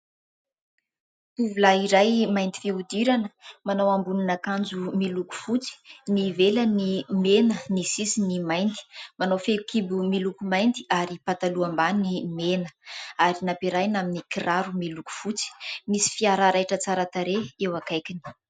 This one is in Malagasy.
Tovolahy iray mainty fihodirana, manao ambonin'akanjo miloko fotsy ; ny ivelany mena, ny sisiny mainty ; manao fehikibo miloko mainty ary pataloha ambany mena ary nampiarahiny amin'ny kiraro miloko fotsy. Nisy fiara raitra, tsara tarehy eo akaikiny.